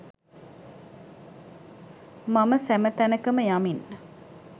මම සැම තැනකම යමින්